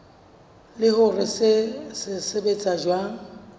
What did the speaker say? le hore se sebetsa jwang